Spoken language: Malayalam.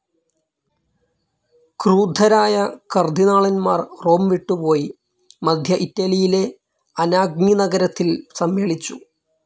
ക്രൂദ്ധരായ കർദ്ദിനാളന്മാർ റോം വിട്ടുപോയി മദ്ധ്യ ഇറ്റലിയിലെ അനാഗ്നി നഗരത്തിൽ സമ്മേളിച്ചു.